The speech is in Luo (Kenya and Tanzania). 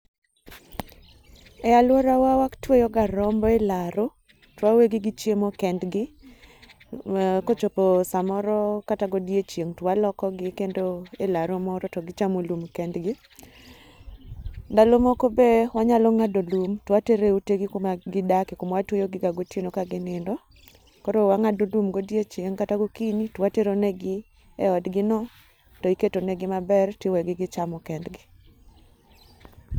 E aluorawa watyewoga rombo elaro to wawegi gi chiemo kendgi kochopo samoro kata godiochieng twalokogi kendo elaro moro togi chamo lum kendgi. Ndalo moko be wanyalo ng'ado lum towatero eutegi kuma gidake kuma watweyogiga gotieno ka ginindo. Koro wang'ado lum godiochieng' kata gokinyi to wateronegi eodgino to iketonegi maber tiwegi gichamo kendgi.